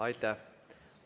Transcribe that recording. Aitäh!